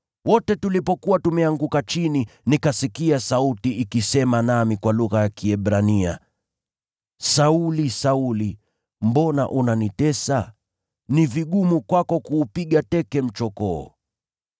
Wote tulipokuwa tumeanguka chini, nikasikia sauti ikisema nami kwa lugha ya Kiebrania, ‘Sauli, Sauli, mbona unanitesa? Ni vigumu kwako kuupiga teke mchokoo.’